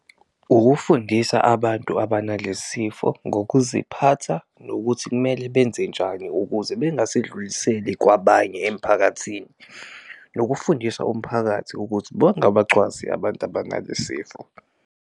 Ukufundisa abantu abanale sifo ngokuziphatha nokuthi kumele benze njani ukuze bengasedluliseli kwabanye emphakathini, nokufundisa umphakathi ukuthi bangabacwasi abantu abanale sifo.